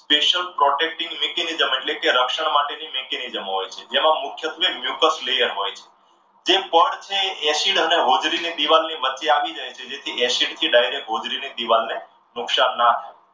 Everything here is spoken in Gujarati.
social protecting mechanism એટલે કે રક્ષણ માટેની mechanism હોય છે જેમાં મુખ્ય layer હોય છે. જે પડ છે એ acid અને હોજરીની દીવાલની વચ્ચે આવી જાય છે જેથી acid થી direct હોજડી ની દિવાલને નુકસાન ન થાય.